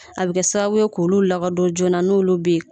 A be kɛ sababu ye k'olu lakodon joona n'olu be ye